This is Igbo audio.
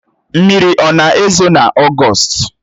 Mmiri ọ na-ezo n'ogost?